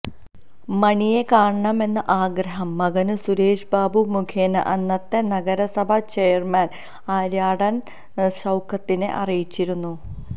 മണിയെ കാണണമെന്ന ആഗ്രഹം മകന് സുരേഷ് ബാബു മുഖേന അന്നത്തെ നഗരസഭാ ചെയര്മാന് ആര്യാടന് ഷൌക്കത്തിനെ അറിയിച്ചിരുന്നു